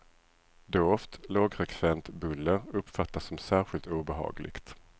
Dovt, lågfrekvent buller uppfattas som särskilt obehagligt.